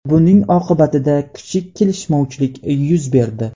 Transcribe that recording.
Buning oqibatida kichik kelishmovchilik yuz berdi.